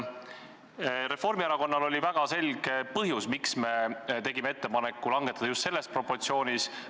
Reformierakonnal oli väga selge põhjus, miks me tegime ettepaneku langetada aktsiisi just selles proportsioonis.